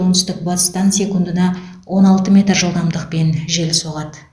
оңтүстік батыстан секундына он алты метр жылдамдықпен жел соғады